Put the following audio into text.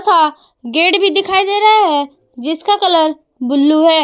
Gate भी दिखाई दे रहा है जिसका कलर बुलु है।